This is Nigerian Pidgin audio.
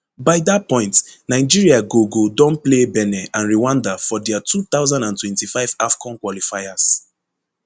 by dat point nigeria go go don play benin and rwanda for dia two thousand and twenty-five afcon qualifiers